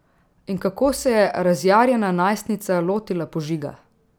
In kako se je razjarjena najstnica lotila požiga?